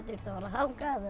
þangað